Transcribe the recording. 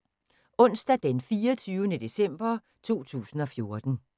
Onsdag d. 24. december 2014